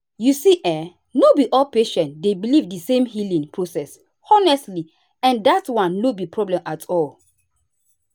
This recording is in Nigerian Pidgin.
you see[um]no be all patients dey believe the same healing process honestly and dat one no be problem at all.